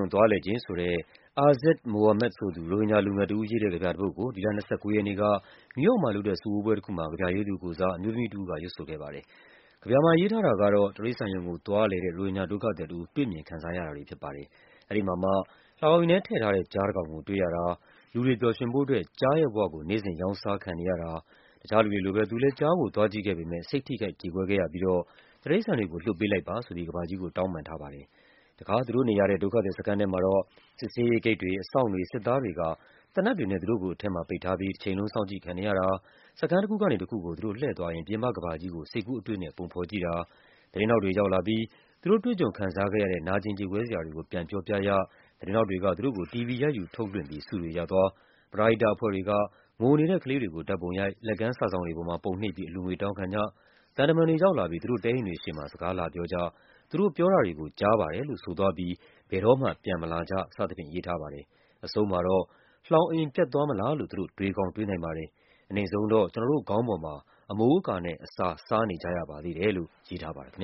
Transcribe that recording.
ုံသွားလည်ခြင်း ဆိုတဲ့ Azad Mohammed ဆိုသူ ရိုဟင်ဂျာ လူငယ်တဦး ရေးတဲ့ ကဗျာတပုဒ်ကို ဒီလ ၂၉ ရက်နေ့က အမေရိကန် ပြည်ထောင်စု နယူးယောက်မှာလုပ်တဲ့ စုဝေးပွဲတခုမှာ ကဗျာရေးသူကိုယ်စား အမျိုးသမီးတဦးက ရွတ်ဆိုခဲ့ပါတယ်။ ကဗျာမှာ ရေးထားတာကတော့ တိရိစ္ဆာန်ရုံကို သွားလည်တဲ့ ရိုဟင်ဂျာ ဒုက္ခသည်တဦး တွေ့မြင်ရတာတွေဖြစ်ပါတယ်။ အဲဒီမှာမှ လှောင်အိမ်ထဲ ထည့်ထားတဲ့ ကျားတကောင်ကို တွေ့ရတာ၊ လူတွေပျော်ရွှင်ဖို့ အတွက် ကျားရဲ့ဘဝကို နေ့စဉ် ရောင်းစားခံ နေရတာ၊ တခြားလူတွေလိုပဲ သူလည်း ကျားကို သွားကြည့်ခဲ့ပေမယ့် စိတ်ထိခိုက် ကြေကွဲ ခဲ့ရပြီးတော့ တိရိစ္ဆာန်တွေကို လွှတ်ပေး လိုက်ပါဆိုပြီး ကမ္ဘာကြီးကို တောင်းပန်ထားပါတယ်။ တခါ သူတို့နေရတဲ့ ဒုက္ခသည်စခန်း ထဲမှာတော့ စစ်ဆေးရေးဂိတ်တွေ၊ အစောင့်တွေ၊ စစ်သားတွေက သေနတ်တွေနဲ့ သူတို့ကို အထဲမှာ ပိတ်ထားပြီး တချိန်လုံး စောင့်ကြည့်ခံနေရတာ၊ စခန်းတခုကနေ တခုကို သူတို့လှည့်သွားရင်း ပြင်ပကမ္ဘာကြီးကို စိတ်ကူး အတွေးနဲ့ပုံဖော်ကြည့်တာ၊ သတင်းထောက်တွေ ရောက်လာပြီး သူတို့ တွေ့ကြုံခံစားခဲ့ရတဲ့ နာကျင် ကြေကွဲ စရာတွေကို ပြန်ပြောပြ ရ၊ သတင်းထောက်တွေက သူတို့ကို တီဗွီရိုက်ယူ ထုတ်လွှင့်ပြီး ဆုတွေရသွား၊ ပရဟိတအဖွဲ့တွေက ငိုနေတဲ့ ကလေးတွေကို ဓာတ်ပုံရိုက်၊ လက်ကမ်း စာစောင်တွေပေါ်မှာ ပုံနှိပ်ပြီး အလှူငွေ တောင်းခံကြ၊ သံတမန်တွေ ရောက်လာပြီး သူတို့ တဲအိမ်တွေရှေ့မှာ စကားလာပြောကြ၊ သူတို့ပြောတာတွေကို ကြားပါတယ်လို့ ဆိုသွားပြီး ဘယ်တော့မှ ပြန်မလာကြ စသဖြင့်ရေးထားပါတယ်။ အဆုံးမှာတော့ လှောင်အိမ် ပျက်သွားမလားလို့ သူတို့ တွေးကောင်းတွေးနိုင်ပါတယ်၊ အနိမ့်ဆုံးတော့ ကျနော်တို့ ခေါင်းပေါ်မှာ အမိုးအကာနဲ့ အစာ စားနေကြရပါသေးတယ်လို့ ရေးထားပါတယ်။ ဘင်္